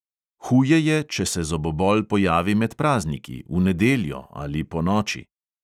Huje je, če se zobobol pojavi med prazniki, v nedeljo ali ponoči.